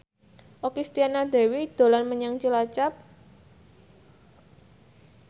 Okky Setiana Dewi dolan menyang Cilacap